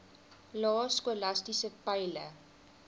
lae skolastiese peile